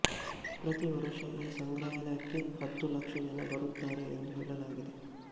ಪ್ರತಿ ವರುಷ ಈ ಸಂಗ್ರಹಾಲಯಕ್ಕೆ ಹತ್ತು ಲಕ್ಷ ಜನ ಬರುತ್ತಾರೆ ಎಂದು ಹೇಳಲಾಗಿದೆ